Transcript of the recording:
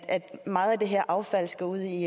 meget af det her affald skal ud i